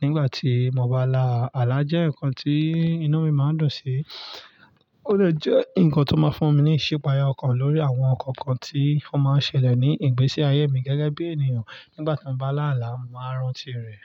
nígbà tí mo bá là. Àlá jẹ́ nǹkan tí inú mi máa ń dùn sí. Ó lè jẹ́ nǹkan tó máa ń fún mi ní ìsepèayé ọkàn lórí àwọn nǹkan kan tí mo máa ń ṣẹlẹ̀ ní ìgbésí ayé mi gẹ́gẹ́ bí ènìyàn. Nígbà tí mo bá là ála, mo máa ń rántí rẹ̀